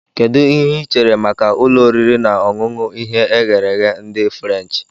Kedu ihe ị chere maka ụlọ oriri na ọṅụṅụ ihe eghere ehe ndị furenchi